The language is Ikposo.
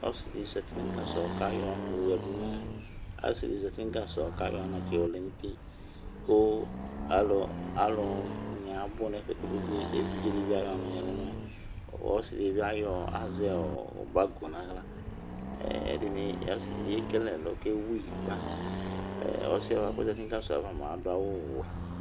Ɔsi di zati nu gasɔ kayɔ anatsɛ yɔ lɛ nu uti, ku alu nia abu nɛfɛ kpekpe Evidjẹ di bi ayɔ ɔnu ya nɛ ɛlu Ɔsi di bi azɛɔbako na aɣla, ɛdini édini ékele ɛlɔ ké éwuyi kpa Asiɛ ko zari nu gasɔ va mua adu awu wωɛ